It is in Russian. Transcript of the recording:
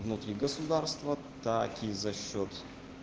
внутри государства так и за счёт